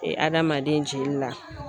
Adamaden jeli la.